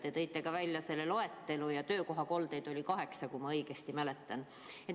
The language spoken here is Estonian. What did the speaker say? Te tõite välja nakkuskollete loetelu ja töökohakoldeid oli kaheksa, kui ma õigesti mäletan.